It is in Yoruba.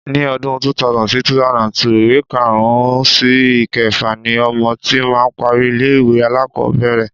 Ni ọdún 2000 sí 2002, ìwé karùn-ún sí ìkẹfà ni ọmọ tí máa parí ilé-ìwé alákọ̀ọ́bẹ̀rẹ̀.